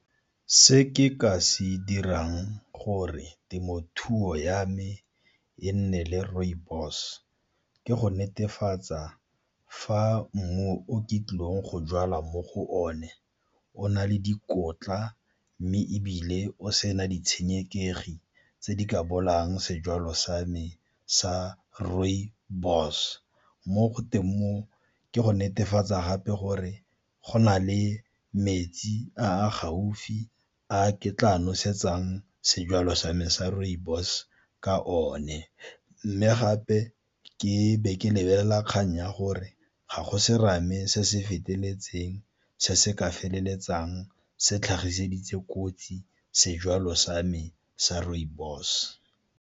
Se ke ka se dirang gore temothuo ya me e nne le rooibos, ke go netefatsa fa mmu o ke tlileng go jala mo go one o na le dikotla mme ebile o sena ditshenekegi tse di ka bolayang sejwalo sa me sa rooibos. Mo ke go netefatsa gape gore go na le metsi a a gaufi a ke tla a nosetsang sejalo sa me sa rooibos ka one. Mme gape ke be ke lebelela kgang ya gore ga go serame se se feteletseng se se ka feleletsang se tlhagiseditse kotsi sejwalo sa me sa rooibos.